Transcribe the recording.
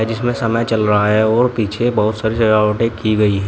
इसमें समय चल रहा है और पीछे बहुत सारी सजावटें की गई हैं।